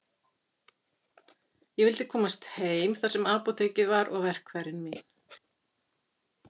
Ég vildi komast heim þar sem apótekið var og verkfærin mín.